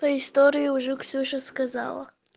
по истории уже ксюша сказала